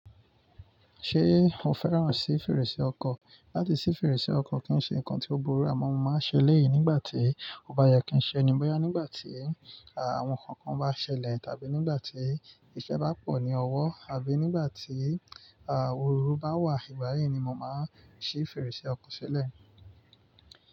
Ṣé o fẹ́ràn sí fèrèsé ọkọ̀? Láti ṣí fèrèsé ọkọ̀ kì í ṣe nǹkan tí ó burú, àmọ́ mo máa ń ṣe lẹ́ẹ̀yìí nígbà tí ó bá yẹ kí ń ṣe ni, bóyá nígbà tí àwọn nǹkan kan bá ṣẹlẹ̀, tàbí nígbà tí iṣẹ́ bá pọ̀ ní ọwọ́, àbí nígbà tí òru bá wà. Ìgbà yi ni mo máa ń ṣí fèrèsé ọkọ̀ ṣẹlẹ̀